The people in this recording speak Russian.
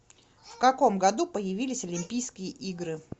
в каком году появились олимпийские игры